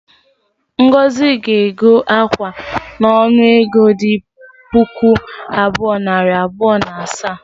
Ngozi ga-ego akwa a n’onu ego dị puku abụọ, nari abụọ na asaa